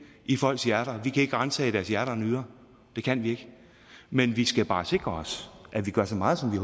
i folks hjerter vi kan ikke ransage deres hjerter og nyrer det kan vi ikke men vi skal bare sikre os at vi gør så meget som vi